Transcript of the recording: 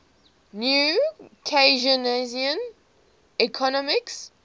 new keynesian economics